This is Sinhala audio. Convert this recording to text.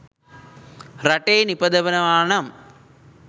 රටේ නිපදවනවා නම්